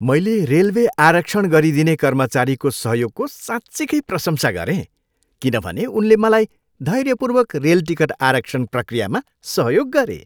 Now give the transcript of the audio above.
मैले रेलवे आरक्षण गरिदिने कर्मचारीको सहयोगको साँच्चिकै प्रशंसा गरेँ किनभने उनले मलाई धैर्यपूर्वक रेल टिकट आरक्षण प्रक्रियामा सहयोग गरे।